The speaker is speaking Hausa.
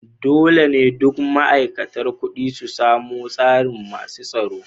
Dolle ne dukan ma'aikatan kudi su samu tsarin masun tsaro.